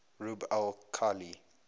rub al khali